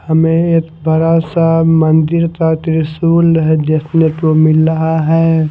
हमें एक बड़ा सा मंदिर का त्रिशूल है देखने को मिल रहा है।